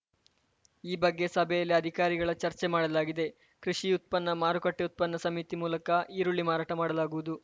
ಈ ಬಗ್ಗೆ ಸಭೆಯಲ್ಲಿ ಅಧಿಕಾರಿಗಳ ಚರ್ಚೆ ಮಾಡಲಾಗಿದೆ ಕೃಷಿ ಉತ್ಪನ್ನ ಮಾರುಕಟ್ಟೆಉತ್ಪನ್ನ ಸಮಿತಿ ಮೂಲಕ ಈರುಳ್ಳಿ ಮಾರಾಟ ಮಾಡಲಾಗುವುದು